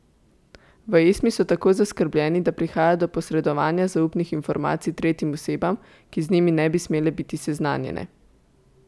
V Esmi so tako zaskrbljeni, da prihaja do posredovanja zaupnih informacij tretjim osebam, ki z njimi ne bi smele biti seznanjene.